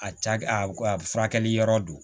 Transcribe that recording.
A ca a furakɛli yɔrɔ don